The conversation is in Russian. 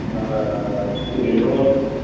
на перелёт